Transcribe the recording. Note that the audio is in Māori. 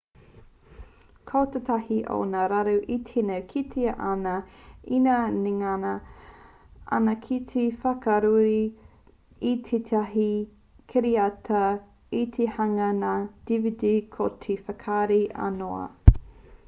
ko tētahi o ngā raru e tino kitea ana ina ngana ana ki te whakahuri i tētahi kiriata ki te hanganga dvd ko te whakarahi aunoa